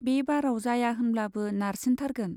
बे बाराव जाया होनब्लाबो नारसिनथारगोन।